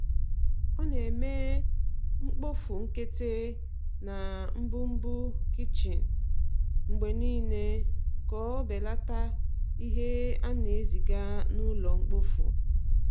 O na-eme mkpofu nkịtị na mbumbu kichin mgbe niile ka o belata ihe a na-eziga n’ụlọ mkpofu.